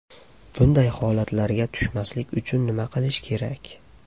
Bunday holatlarga tushmaslik uchun nima qilish kerak?